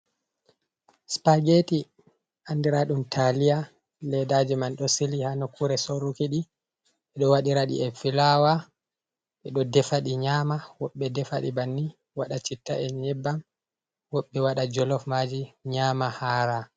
Spaageti, andiraaɗum taaliya, ledaaji man ɗo sili ha nokkuure soruki ɗi, ɓe ɗo waɗira ɗi e filaawa. Ɓe ɗo defa ɗi nyaama, woɓɓe defa ɗi banni waɗa chitta e nyebbam, woɓɓe waɗa jolof maaji nyaama, haara.